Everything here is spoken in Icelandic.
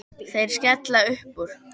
Þeir skella upp úr.